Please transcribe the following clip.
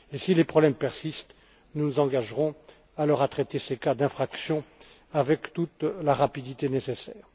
Si les problèmes persistent, nous nous engagerons alors à traiter ces cas d'infraction avec toute la rapidité nécessaire.